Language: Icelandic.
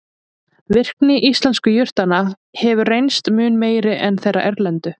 Virkni íslensku jurtanna hefur reynst mun meiri en þeirra erlendu.